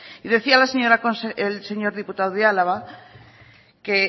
y decía el señor diputado de álava que